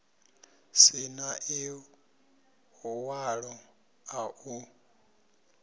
si na ḽiṅwalo ḽa u